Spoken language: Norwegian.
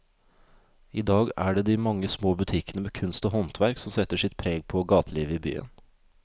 I dag er det de mange små butikkene med kunst og håndverk som setter sitt preg på gatelivet i byen.